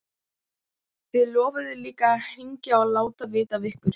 Þið lofuðuð líka að hringja og láta vita af ykkur.